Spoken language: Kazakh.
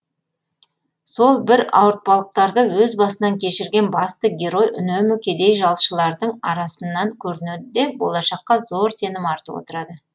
сол бір ауырпалықтарды өз басынан кешірген басты герой үнемі кедей жалшылардың арасынан көрінеді де болашаққа зор сенім артып отырады